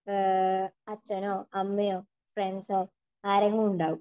അച്ഛനോ അമ്മയോ ഫ്രൻഡ്‌സോ ആരെങ്കിലും ഉണ്ടാവും.